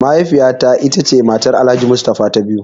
Mahaifiya ta ce matar Alhaji mustafa ta biyu.